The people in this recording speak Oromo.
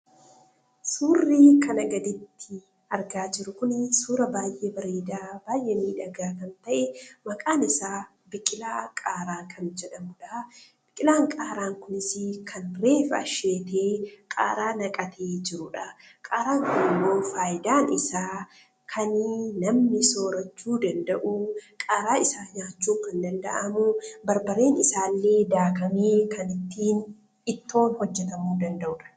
Suurri kana gadiitti arga jiru kuni suuraa baay'ee bareeda, baay'ee midhagaa kan ta'e maqaan isa biqilaa Qaaraa jedhamuudha. Biqilaan Qaaraa kunis kan ref-asheetee Qaaraa naqatee jiruudha. Qaaraan kun immoo faayidaan isa kan namni soorachuu danda'uu, Qaaraa isaa nyaachuu kan danda'amu, barbareen isaa illee daakamee kan ittiin Ittoon hojjetamu danda'uudha.